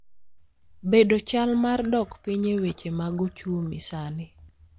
bedo chal mar dok piny e weche mag ochumi sani